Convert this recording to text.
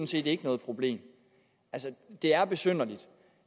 set ikke noget problem altså det er besynderligt